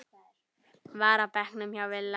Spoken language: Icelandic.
var á bekknum hjá Villa.